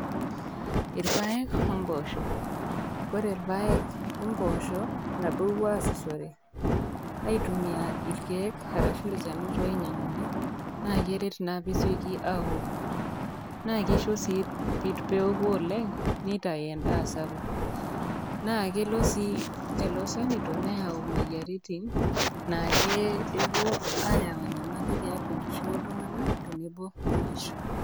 Irpaek oo imboosho, koree irpaek oo mboosho nabo epuo asishore ai tumia irkiek arashu ilchanito oinyanguni na Keret naa peesieki aoku na kisho sii peoku oleng nitau endaa sapuk nakelo sii lolo shanito neyau moyiaritin nake kepuo ayau enyamali tiatua enkishui oltunganak ,teneno onkishu.